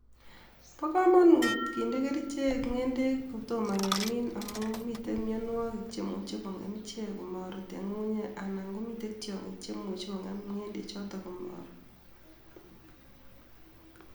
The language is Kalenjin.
Bokomonut kindee kerijek ng'endek kotomo kemin amun miten mionywokik chemuche kong'em ichek komorut en ng'ung'unyek anan komiten tiong'ik chemuche kong'em ng'endechoton komorut.